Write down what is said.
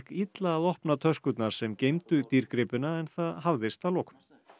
illa að opna töskurnar sem geymdu dýrgripina en það hafðist að lokum